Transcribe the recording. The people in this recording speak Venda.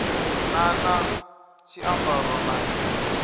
na na tshiambaro na tshithihi